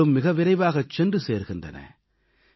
பொருள்களும் மிக விரைவாகச் சென்று சேர்கின்றன